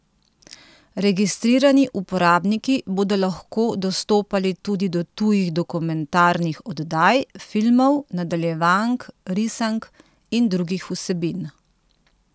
Registrirani uporabniki bodo lahko dostopali tudi do tujih dokumentarnih oddaj, filmov, nadaljevank, risank in drugih vsebin.